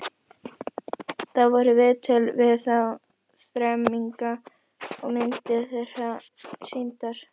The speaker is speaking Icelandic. Þar voru viðtöl við þá þremenninga og myndir þeirra sýndar.